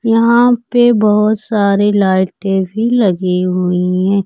यहां पे बहोत सारे लाइटें भी लगीं हुई हैं।